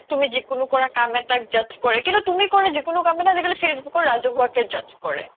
তুমি জিকিনো কৰা কাম এটাক judge কৰে কিন্তু তুমি জিকিনো কাম আজিকালি facebook ত ৰাজহুৱা কে judge কৰে